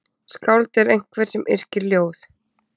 Skáld er einhver sem yrkir ljóð.